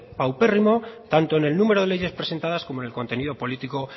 paupérrimo tanto en el número de leyes presentadas como en el contenido político